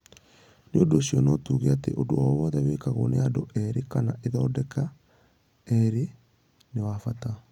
Nĩ ũndũ ũcio, no tuuge atĩ ũndũ o wothe wĩkagwo nĩ andũ erĩ kana ithondeka erĩ nĩ wa bata.